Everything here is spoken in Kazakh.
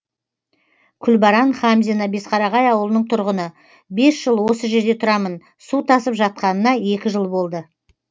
күлбаран хамзина бесқарағай ауылының тұрғыны бес жыл осы жерде тұрамын су тасып жатқанына екі жыл болды